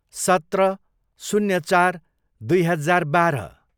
सत्र, शून्य चार, दुई हजार बाह्र